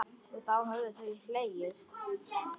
Og þá höfðu þau hlegið.